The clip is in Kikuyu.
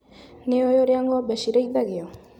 Nĩũĩ ũrĩa ng'ombe cirĩithagio.